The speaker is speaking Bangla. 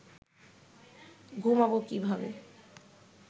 ঘুমাব কীভাবে